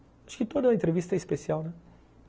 Acho que toda entrevista é especial, né.